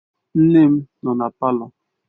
Nne m nọ na palọ.